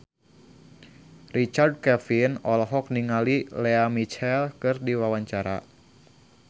Richard Kevin olohok ningali Lea Michele keur diwawancara